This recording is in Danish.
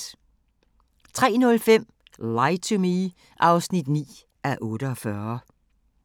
03:05: Lie to Me (9:48)